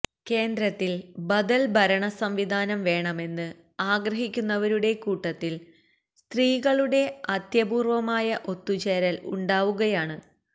കേന്ദ്രത്തില് ബദല് ഭരണസംവിധാനം വേണമെന്ന് ആഗ്രഹിക്കുന്നവരുടെ കൂട്ടത്തില് സ്ത്രീകളുടെ അത്യപൂര്വമായ ഒത്തുചേരല് ഉണ്ടാവുകയാണ്